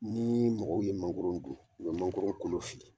Ni mɔgɔw ye mangoron dun u bɛ mangoron kolo fili.